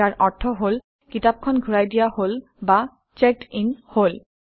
যাৰ অৰ্থ হল কিতাপখন ঘূৰাই দিয়া হল বা চেকড্ ইন হল